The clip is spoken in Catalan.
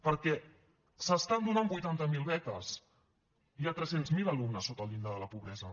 perquè s’estan donant vuitanta mil beques hi ha tres cents miler alumnes sota el llindar de la pobresa